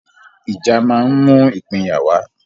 ìjà ma ń mú ìpínyà wá